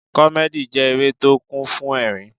Comedy jẹ́ eré tó kún fún ẹ̀rín.